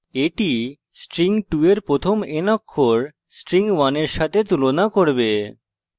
এটি string 2 এর প্রথম n অক্ষর string 1 এর সাথে তুলনা করবে